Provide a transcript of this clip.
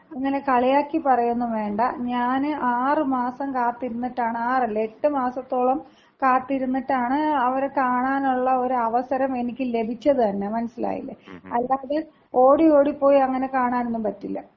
അങ്ങനെ കളിയാക്കി പറയുവൊന്നും വേണ്ട. ഞാന് ആറ് മാസം കാത്തിരുന്നിട്ടാണ്, ആറല്ല, എട്ട് മാസത്തോളം കാത്തിരുന്നിട്ടാണ് അവരെ കാണാനുള്ള ഒരു അവസരം എനിക്ക് ലഭിച്ചത് തന്ന. മനസ്സിലായില്ലേ? അല്ലാതെ ഓടി ഓടി പോയി അങ്ങനെ കാണാനൊന്നും പറ്റില്ല.